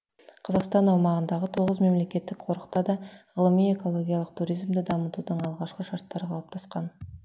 қазақстан аумағындағы тоғыз мемлекеттік қорықта да ғылыми экологиялық туризмді дамытудың алғы шарттары қалыптасқан